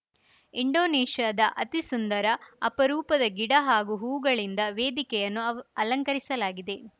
ಇಂಡೋನೇಷ್ಯಾದ ಅತಿಸುಂದರ ಅಪರೂಪದ ಗಿಡ ಹಾಗೂ ಹೂವುಗಳಿಂದ ವೇದಿಕೆಯನ್ನು ಅವ್ ಅಲಂಕರಿಸಲಾಗಿದೆ